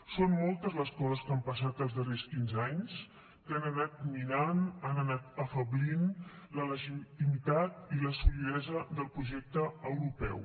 són moltes les coses que han passat els darrers quinze anys que han anat minant han anat afeblint la legitimitat i la solidesa del projecte europeu